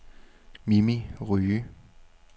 Mimi Rye